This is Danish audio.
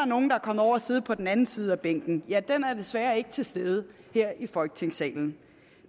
er nogle der er kommet over at sidde på den anden side af bænken ja den er desværre ikke til stede her i folketingssalen